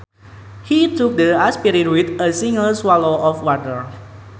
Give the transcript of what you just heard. He took the aspirin with a single swallow of water